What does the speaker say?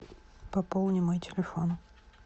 пополни мой телефон